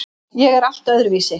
Ég er allt öðruvísi.